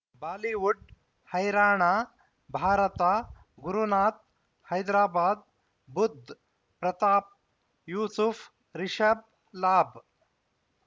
Bollywood Haryana Bharat Gurunath Hyderabad Budh Pratap Yusuf Rishabh Labh